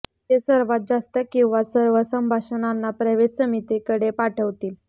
ते सर्वात जास्त किंवा सर्व संभाषणांना प्रवेश समितीकडे पाठवतील